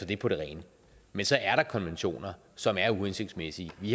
det på det rene men så er der nogle konventioner som er uhensigtsmæssige vi